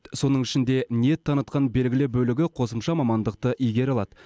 соның ішінде ниет танытқан белгілі бөлігі қосымша мамандықты игере алады